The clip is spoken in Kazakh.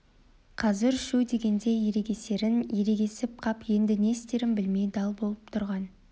қазір шүу дегенде ерегісерін ерегісіп қап енді не істерін білмей дал боп тұрған